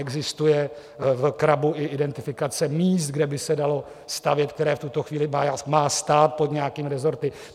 Existuje v CRABu i identifikace míst, kde by se dalo stavět, která v tuto chvíli má stát pod nějakými resorty.